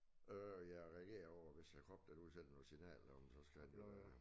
Øh ja reagere på hvis æ krop den udsender noget signal om så skal den jo øh